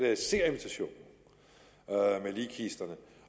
jeg ser invitationen med ligkisterne